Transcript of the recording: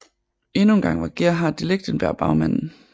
Endnu engang var Gerhard de Lichtenberg bagmanden